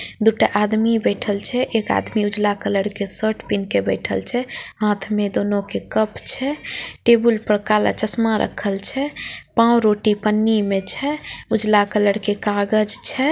दो टा आदमी बैठल छे एक आदमी उजाला कलर के शर्ट पेहेन के बैठल छे हाथ में दोनों के कप छे टेबल पर काला चश्मा राखल छे पाव-रोटी पन्नी में छे उजला कलर के कागज छे।